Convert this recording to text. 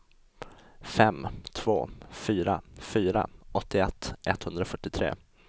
fem två fyra fyra åttioett etthundrafyrtiotre